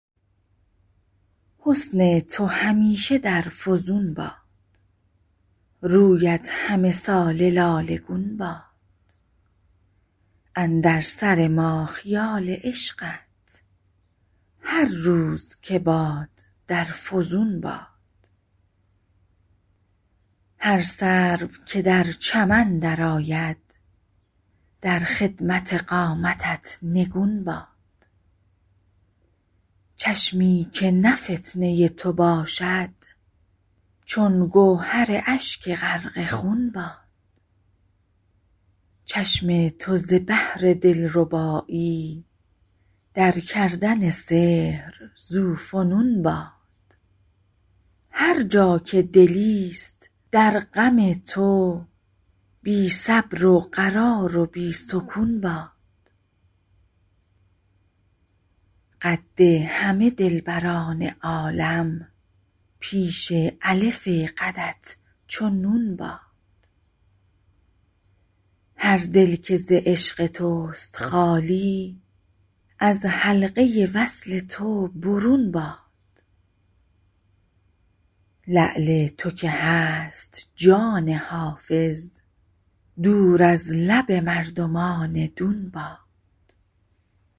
حسن تو همیشه در فزون باد رویت همه ساله لاله گون باد اندر سر ما خیال عشقت هر روز که باد در فزون باد هر سرو که در چمن درآید در خدمت قامتت نگون باد چشمی که نه فتنه تو باشد چون گوهر اشک غرق خون باد چشم تو ز بهر دلربایی در کردن سحر ذوفنون باد هر جا که دلیست در غم تو بی صبر و قرار و بی سکون باد قد همه دلبران عالم پیش الف قدت چو نون باد هر دل که ز عشق توست خالی از حلقه وصل تو برون باد لعل تو که هست جان حافظ دور از لب مردمان دون باد